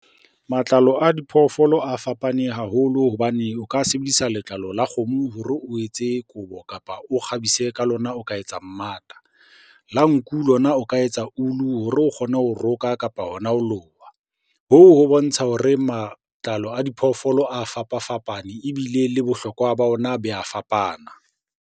Matlalo a diphoofolo a fapane haholo hobane o ka sebedisa letlalo la kgomo hore o etse kobo, kapa o kgabisa ka lona ho ka etsa mmata. La nku lona o ka ho etsa ulu hore o kgone ho roka, kapa hona ho loha. Hoo ho bontsha hore matlalo a diphoofolo a fapa-fapane ebile le bohlokwa ba ona bo ya fapana.